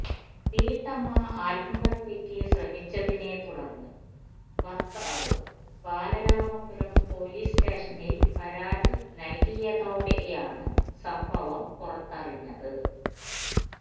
വീട്ടമ്മ ആത്മഹത്യക്ക് ശ്രമിച്ചതിനെ തുടര്ന്ന് ഭര്ത്താവ് ബാലരാമപുരം പോലീസ് സ്റ്റേഷില് പരാതി നല്കിയതോടെയാണ് സംഭവം പുറത്തറിഞ്ഞത്